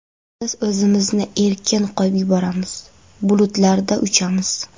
Biz o‘zimizni erkin qo‘yib yuboramiz, bulutlarda uchamiz.